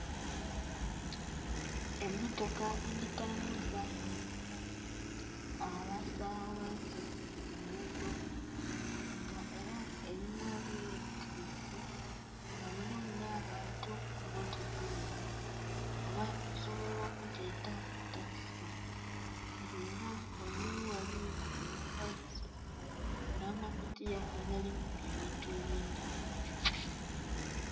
Emmotoka edhitambuza abasabaze kunguudo nga era erinha byetise nga mulimu n'abantu mummotoka eyo oba osobola okugyeta takisi nga era ghangulu ghaliyo omufaliso n'amakutiya agalimu ebintu ebindhi.